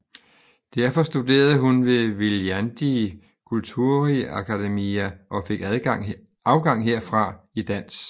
Derfor studerede hun ved Viljandi Kultuuriakadeemia og fik afgang herfra i dans